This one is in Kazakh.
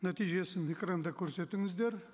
нәтижесін экранда көрсетіңіздер